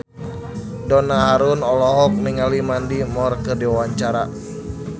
Donna Harun olohok ningali Mandy Moore keur diwawancara